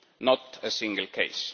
not a single case.